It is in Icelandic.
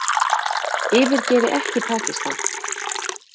Yfirgefi ekki Pakistan